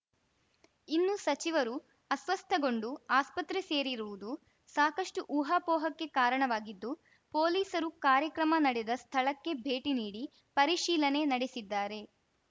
ಇನ್ನು ಸಚಿವರು ಅಸ್ವಸ್ಥಗೊಂಡು ಆಸ್ಪತ್ರೆ ಸೇರಿರುವುದು ಸಾಕಷ್ಟುಊಹಾಪೋಹಕ್ಕೆ ಕಾರಣವಾಗಿದ್ದು ಪೊಲೀಸರು ಕಾರ್ಯಕ್ರಮ ನಡೆದ ಸ್ಥಳಕ್ಕೆ ಭೇಟಿ ನೀಡಿ ಪರಿಶೀಲನೆ ನಡೆಸಿದ್ದಾರೆ